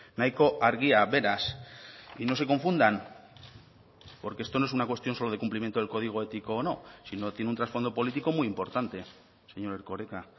nahiko argia beraz y no se confundan porque esto no es una cuestión solo de cumplimiento del código ético o no sino tiene un trasfondo político muy importante señor erkoreka